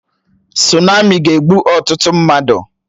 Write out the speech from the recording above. Sunami ga-egbu ọtụtụ mmadụ